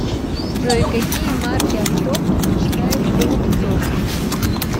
джой какие марки авто предпочитает голубцов